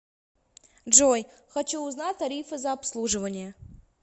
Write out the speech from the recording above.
джой хочу узнать тарифы за обслуживания